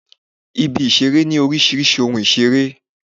Ibi-ìṣeré ní oríṣiríṣi ohun ìṣeré.